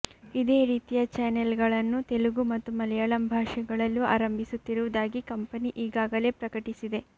ಇದೇ ರೀತಿಯ ಚಾನೆಲ್ ಗಳನ್ನು ತೆಲುಗು ಮತ್ತು ಮಲಯಾಳಂ ಭಾಷೆಗಳಲ್ಲೂ ಆರಂಭಿಸುತ್ತಿರುವುದಾಗಿ ಕಂಪನಿ ಈಗಾಗಲೇ ಪ್ರಕಟಿಸಿದೆ